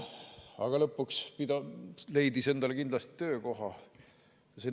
Aga lõpuks ta leidis endale töökoha.